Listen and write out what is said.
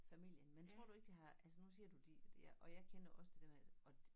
Familien men tror du ikke det de har altså nu siger du de jeg og jeg kender også det dér med at